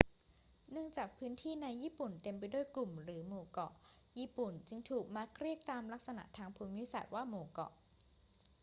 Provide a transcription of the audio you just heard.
เนื่องจากพื้นที่ในญี่ปุ่นเต็มไปด้วยกลุ่มหรือหมู่เกาะ ญี่ปุ่นจึงมักถูกเรียกตามลักษณะทางภูมิศาสตร์ว่า หมู่เกาะ